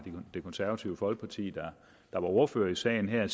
det konservative folkeparti der var ordfører i sagen her